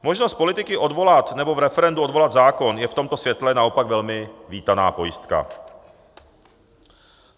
Možnost politiky odvolat nebo v referendu odvolat zákon je v tomto světle naopak velmi vítaná pojistka.